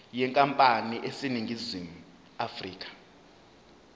yenkampani eseningizimu afrika